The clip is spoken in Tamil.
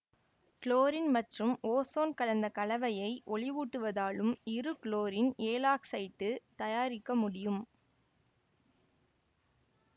குளோரின் மற்றும் ஓசோன் கலந்த கலவையை ஒளியூட்டுவதாலும் இருகுளோரின் ஏழாக்சைடு தயாரிக்க முடியும்